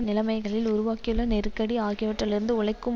நிலைமைகளில் உருவாகியுள்ள நெருக்கடி ஆகியவற்றிலிருந்து உழைக்கும்